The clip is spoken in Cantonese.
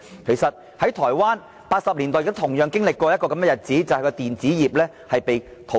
其實台灣在1980年代有同樣的經歷，就是其電子業被淘空。